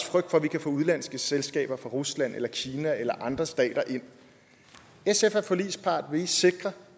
frygt for at vi kan få udenlandske selskaber fra rusland eller kina eller andre stater ind sf er forligspart vil i sikre